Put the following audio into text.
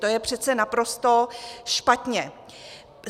To je přece naprosto špatně.